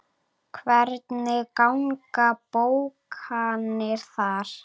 Hvernig ganga bókanir þar?